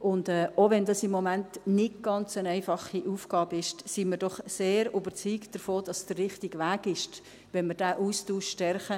Auch wenn es im Moment eine nicht ganz einfache Aufgabe ist, sind wir doch sehr überzeugt davon, dass es der richtige Weg ist, wenn wir diesen Austausch stärken.